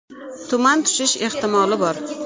Tuman tushishi ehtimoli bor.